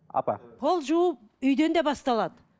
апа пол жуу үйден де басталады